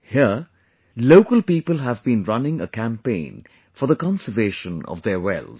Here, local people have been running a campaign for the conservation of their wells